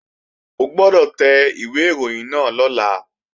O gbọ́dọ̀ tẹ ìwé ìròyìn náà lọ́la!